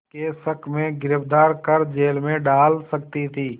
के शक में गिरफ़्तार कर जेल में डाल सकती थी